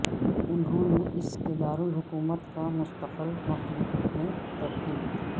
انہوں نے اس کے دارالحکومت کا مستقل مخلوق میں تبدیل